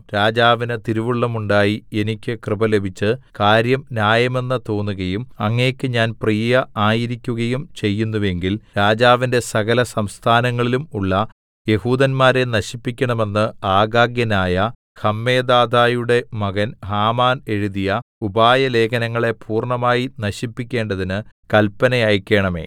രാജാവിന് തിരുവുള്ളമുണ്ടായി എനിക്ക് കൃപ ലഭിച്ച് കാര്യം ന്യായമെന്ന് തോന്നുകയും അങ്ങയ്ക്ക് ഞാൻ പ്രിയ ആയിരിക്കുകയും ചെയ്യുന്നുവെങ്കിൽ രാജാവിന്റെ സകലസംസ്ഥാനങ്ങളിലും ഉള്ള യെഹൂദന്മാരെ നശിപ്പിക്കണമെന്ന് ആഗാഗ്യനായ ഹമ്മെദാഥയുടെ മകൻ ഹാമാൻ എഴുതിയ ഉപായലേഖനങ്ങളെ പൂർണ്ണമായി നശിപ്പിക്കേണ്ടതിന് കല്പന അയക്കണമേ